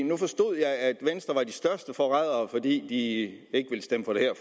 nu forstod jeg at venstre var de største forrædere fordi de ikke ville stemme for det her